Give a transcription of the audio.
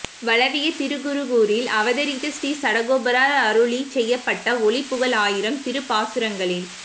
வளவிய திருக்குருகூரில் அவதரித்த ஸ்ரீசடகோபரால் அருளிச் செய்யப்பட்ட ஒலி புகழ் ஆயிரம் திருப்பாசுரங்களில்